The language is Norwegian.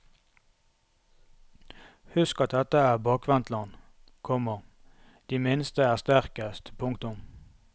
Husk at dette er bakvendtland, komma de minste er sterkest. punktum